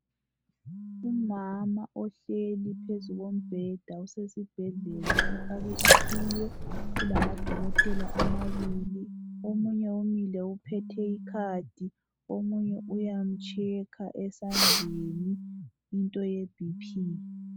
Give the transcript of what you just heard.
Umama ohleli phezu kobheda osesibhedlela ofake iqhiye kulamadokotela amabili omunye umile uphethe ikhadi omunye uyamchekha esandleni into yebp.